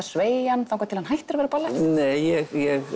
sveigja hann þar til hann hættir að vera ballett nei ég